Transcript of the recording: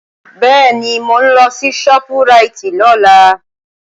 Bẹ́ẹ̀ni, mò ń lọ sí Shoprite lọ́la